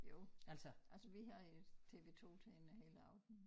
Jo altså vi havde TV2 tænde hele aftenen